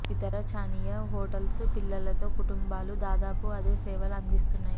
ఇతర చనీయా హోటల్స్ పిల్లలతో కుటుంబాలు దాదాపు అదే సేవలు అందిస్తున్నాయి